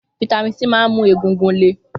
Fataímìn D máa ń mú egungun le.